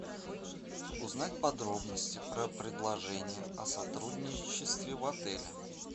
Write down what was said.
узнать подробности про предложения о сотрудничестве в отеле